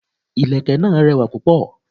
Ìlẹ̀kẹ̀ náà rẹwà púpọ̀.